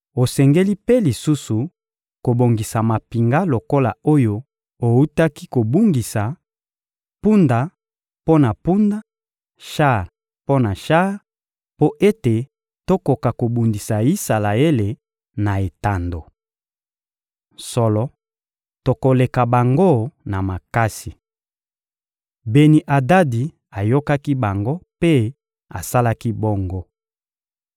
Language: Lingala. Osengeli mpe lisusu kobongisa mampinga lokola oyo owutaki kobungisa: mpunda mpo na mpunda, shar mpo na shar, mpo ete tokoka kobundisa Isalaele na etando. Solo, tokoleka bango na makasi.» Beni-Adadi ayokaki bango mpe asalaki bongo.